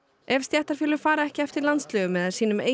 ef stéttarfélög fara ekki eftir landslögum eða sínum eigin